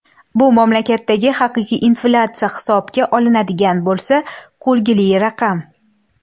Bu mamlakatdagi haqiqiy inflyatsiya hisobga olinadigan bo‘lsa, kulgili raqam.